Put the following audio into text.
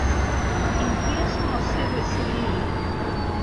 In kje smo se veselili?